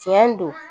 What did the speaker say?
Tiɲɛ don